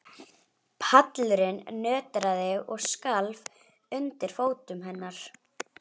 Pallurinn nötraði og skalf undir fótum hennar.